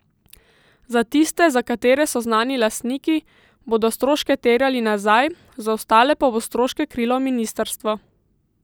Za tiste, za katere so znani lastniki, bodo stroške terjali nazaj, za ostale pa bo stroške krilo ministrstvo.